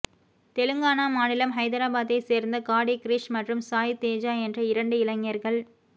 தெலிங்கானா மாநிலம் ஹைதராபாத்தை சேர்ந்த காடி கிரிஷ் மற்றும் சாய் தேஜா என்ற இரண்டு இளைஞர்கள்